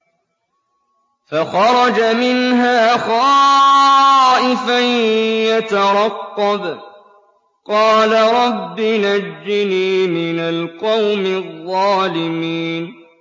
فَخَرَجَ مِنْهَا خَائِفًا يَتَرَقَّبُ ۖ قَالَ رَبِّ نَجِّنِي مِنَ الْقَوْمِ الظَّالِمِينَ